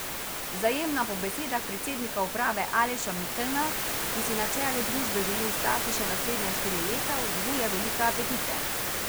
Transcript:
Vzajemna po besedah predsednika uprave Aleša Mikelna, ki si na čelu družbe želi ostati še naslednja štiri leta, vzbuja velike apetite.